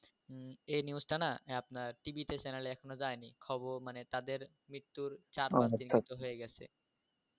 এই নিউজটা না আপনার টিভিতে চ্যানেল এখন যায় নি খবর মানে তাদের মৃত্যুর চার পাঁচ দিন হয়ে গেছে